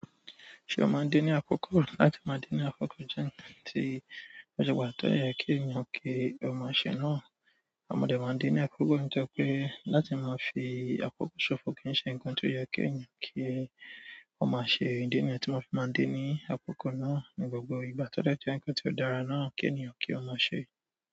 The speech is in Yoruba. Ṣé ó máa ń dé ní àkókò? Láti máa dé ni àkókò jẹ nǹkan ti o ṣe pàtàkì tó dé yẹ kí ènìyàn ki o ma ṣe náà mọ̀ dẹ́ máa ń dé ní àkókò nítorí pé láti máa fi àkókò ṣòfò kì í ṣe ǹnkan tó yẹ kí èèyàn kí ó má ṣe. Idi niyẹn tí mo fi máa ń dé ní àkókò náà ní gbogbo ìgbà tọ́ dẹ́ jẹ wípé tí ó dára náà kí ènìyàn kí ó má ṣe.